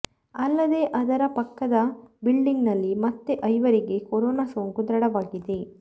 ಅಲ್ಲದೇ ಅದರ ಪಕ್ಕದ ಬಿಲ್ಡಿಂಗ್ನಲ್ಲಿ ಮತ್ತೆ ಐವರಿಗೆ ಕೊರೋನಾ ಸೋಂಕು ದೃಢವಾಗಿದೆ